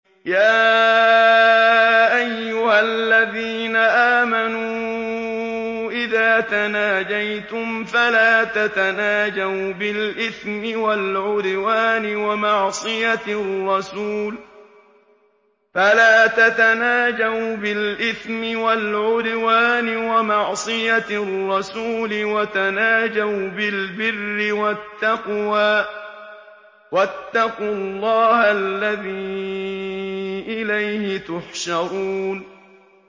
يَا أَيُّهَا الَّذِينَ آمَنُوا إِذَا تَنَاجَيْتُمْ فَلَا تَتَنَاجَوْا بِالْإِثْمِ وَالْعُدْوَانِ وَمَعْصِيَتِ الرَّسُولِ وَتَنَاجَوْا بِالْبِرِّ وَالتَّقْوَىٰ ۖ وَاتَّقُوا اللَّهَ الَّذِي إِلَيْهِ تُحْشَرُونَ